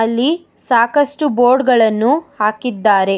ಅಲ್ಲಿ ಸಾಕಷ್ಟು ಬೋರ್ಡ್ ಗಳನ್ನು ಹಾಕಿದ್ದಾರೆ.